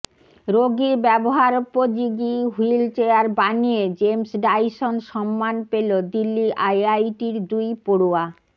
রোগীর ব্যবহারোপযোগী wheelchair বানিয়ে জেমস ডায়সন সম্মান পেল দিল্লি আইআইটির দুই পড়ুয়া